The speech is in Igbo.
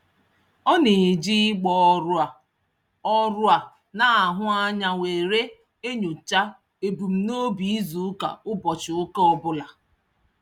Ọ na-eji ịgba ọrụ a ọrụ a na-ahụ anya were enyocha ebumnobi izuụka ụbọchị ụka ọbụla.